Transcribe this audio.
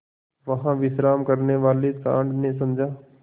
वहाँ विश्राम करने वाले सॉँड़ ने समझा